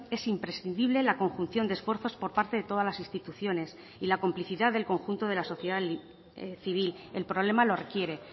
es imprescindible la conjunción de esfuerzos por parte de todas las instituciones y la complicidad del conjunto de la sociedad civil el problema lo requiere